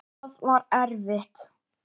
Hvað var erfitt?